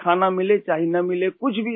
چاہے کھانا ملے یا نہ ملے